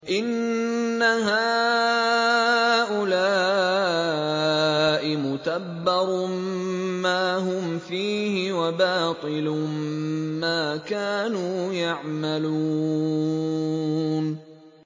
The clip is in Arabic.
إِنَّ هَٰؤُلَاءِ مُتَبَّرٌ مَّا هُمْ فِيهِ وَبَاطِلٌ مَّا كَانُوا يَعْمَلُونَ